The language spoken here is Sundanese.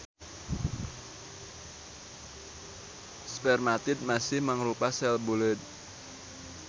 Spermatid masih mangrupa sel buleud.